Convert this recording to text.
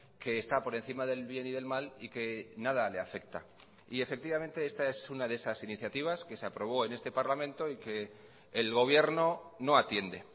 que está por encima del bien y del mal y que nada le afecta y efectivamente esta es una de esas iniciativas que se aprobó en este parlamento y que el gobierno no atiende